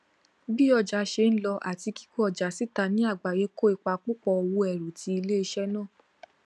bí ọjà ṣe ń lọ àti kíkó ọjà síta ní àgbáyé kó ipa púpọ òwò ẹrù ti iléiṣẹ náà